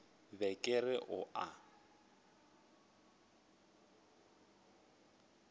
be ke re o a